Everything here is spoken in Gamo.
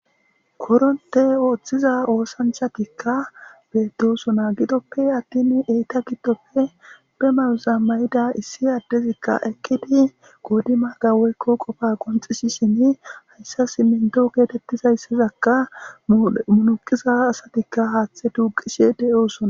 Kokoronte oththiza oosanchatikka beedosona gidoppe attin eyta giddopfe be mayuza ma7ida issi addezikka ekkidi goodima gaweykko qofa qonxisisin hayssa simmento geetettizayssezakka munuqiza asatikka haaththe tuuqishe de7oosona.